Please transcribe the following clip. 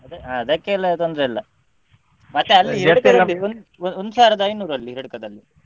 ಅದೇ ಅದಕ್ಕೆಲ್ಲ ತೊಂದ್ರೆಯಿಲ್ಲ ಮತ್ತೆ ಅಲ್ಲಿ ಒಂದುಸಾವಿರದ ಐನೂರು ಅಲ್ಲಿ Hiriadka ದಲ್ಲಿ.